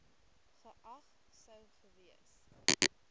geag sou gewees